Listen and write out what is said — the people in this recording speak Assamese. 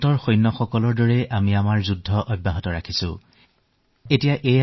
সৈন্যই যিদৰে সীমাত যুদ্ধত অৱতীৰ্ণ হয় ঠিক সেইদৰে আমিও ব্যস্ত হৈ পৰিছো